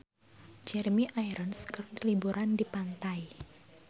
Jeremy Irons keur liburan di pantai